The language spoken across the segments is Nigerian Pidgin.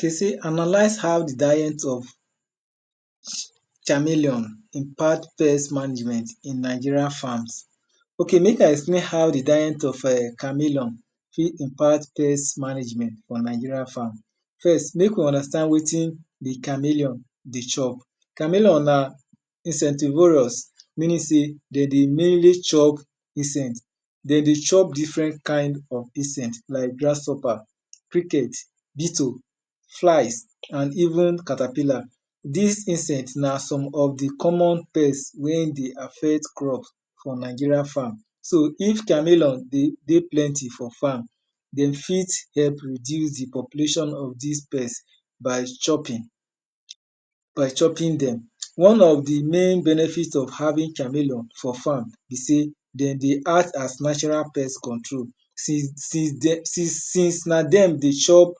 De sey analyze how di diet of chameleon impact pest management in Nigerian farms. Ok mek I explain how di diet of chameleon fit impact pest management on Nigerian farm. First mek we understand wetin di chameleon dey chop. Chameleon na insectivorous meaning sey de dey mainly chop insect, de dey chop different kind of insect like grasshopper, cricket, bettle, fly and even caterpillar. Dis insect na some of di common pest wey dey affect crop for Nigerian farm. So if chameleon dey plenty for farm, de fit help reduce di population of dis pest by chopping dem. One of di main benefit of having chameleon for farm be sey den dey act as natural pest control since na dem dey chop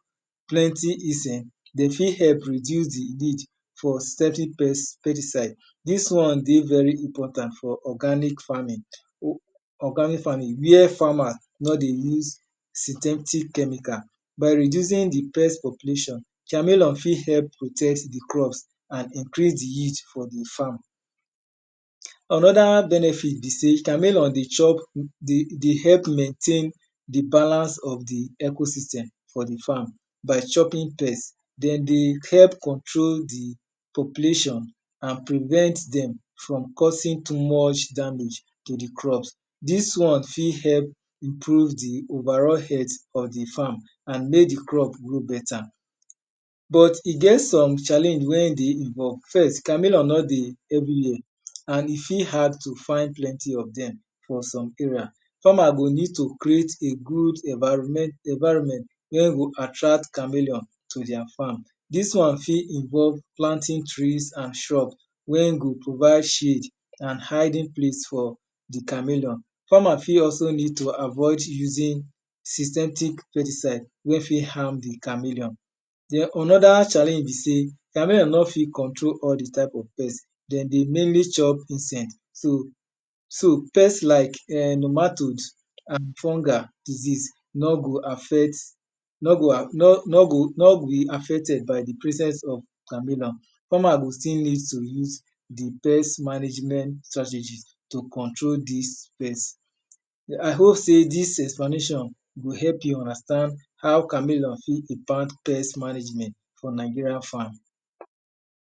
plenty insect, de fit help reduce di need for certain pesticide. Dis one dey very important for organic farming where farmers nor dey use synthetic chemical by reducing di pest population. chameleon fit help protect di crops and increase di yield for di farm. Onoda benefit be sey chameleon dey chop dey help maintain di balance of di eco- systemm of di farm by chopping pest. Dem dey help control di population and prevent dem from causeing too much damage to di crops. Dis one fit help improve di over all health of di farm and mek di rop grow beta. But e get some challenge wen de first, chameleon nor dey everywhere, and e fit hard to find plenty of dem for some area. Farmers go need to create environment wen go attract chameleon for their farm, dis one fit involve planting trees and shrups wen go provide shield and hiding plac for di chameleon. Farmers go avoid using synthetic pesticide wen fit harm di chameleon. Dem anoda challenge be sey chameleon nor fit control all di type of pest, den dey mainly chop insect. Pest like ehm matods and fungi disease, nor go affect, nor will be affected by di presence of chameleon. Farmers go still need to use di pbest management strategist to control but I hope sey dis explanation go help you understand how chameleon fit impact pest management for Nigeria farm.